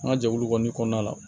An ka jɛkulu kɔni kɔnɔna la